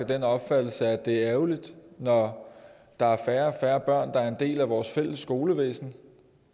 den opfattelse at det er ærgerligt når der er færre og færre børn der er en del af vores fælles skolevæsen